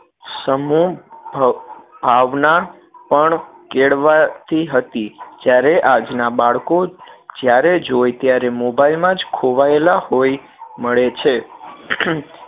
સમૂહ ભવ ભાવના પણ કેળવાતી હતી જ્યારે આજ ના બાળકો જ્યારે જોઈ ત્યારે મોબાઈલ માં જ ખોવાયેલા હોય મળે છે